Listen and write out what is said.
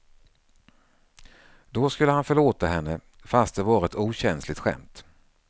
Då skulle han förlåta henne, fast det var ett okänsligt skämt.